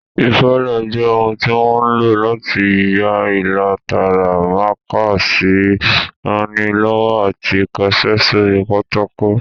Ìfalà jẹ́ ohun tí wọ́n ń lò láti ya ilà tààrà, mákà sì ń ranilọ́wọ́ láti kọṣẹ́ sórí pátákò